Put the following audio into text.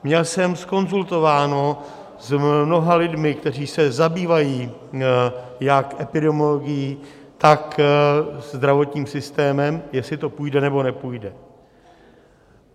Měl jsem zkonzultováno s mnoha lidmi, kteří se zabývají jak epidemiologií, jak zdravotním systémem, jestli to půjde, nebo nepůjde.